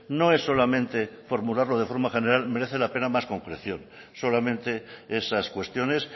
no es solamente formularlo de forma general merece la pena más concreción solamente esas cuestiones